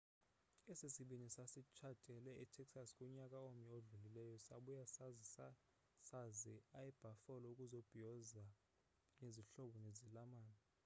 esi sibini sasitshatele e texas kunyaka omnye odlulileyo sabuya seza e buffalo ukuzobhiyoza nezihlobo nezalamane